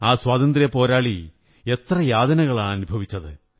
ആ സ്വാതന്ത്ര്യപോരാളി എത്ര യാതനകളാണ് അനുഭവിച്ചത്